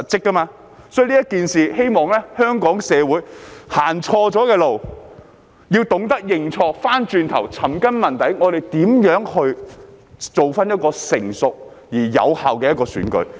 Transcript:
在這件事情上，我希望香港社會，走錯了路，要懂得認錯，要轉回頭，尋根問底，我們如何建立一個成熟而有效的選舉。